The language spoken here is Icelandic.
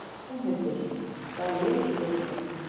Rúnhildur, hvaða leikir eru í kvöld?